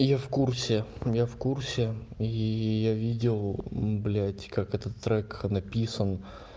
я в курсе я в курсе и я видел блядь как этот трек написан